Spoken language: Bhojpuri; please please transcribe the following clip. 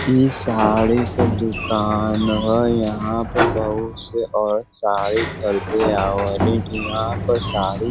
इ साड़ी क दुकान ह। यहाँ प बहुत से औरत साड़ी ख़रीदे आवलीन । यह पर साड़ी --